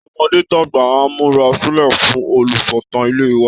Tọmọdé tàgbà á múra sílẹ̀ fún olùsọ̀tàn ilẹ̀ wa